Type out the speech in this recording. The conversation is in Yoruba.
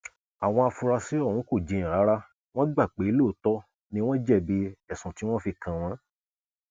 àwọn afurasí ọhún kò jiyàn rárá wọn gbà pé lóòótọ ni wọn jẹbi ẹsùn tí wọn fi kàn wọn